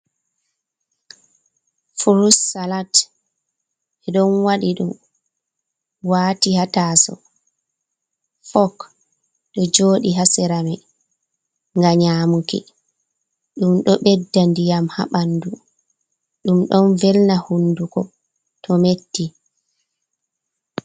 Furut salat ɓe ɗon wadi ɗum waati ha taaso fok ɗo jooɗi ha sera mai nga nyamuki, ɗum ɗo ɓedda ndiyam ha ɓandu, ɗum don velna hunduko to metti.